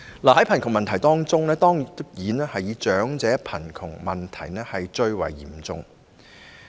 在貧窮問題中，當然以長者貧窮問題最為嚴重。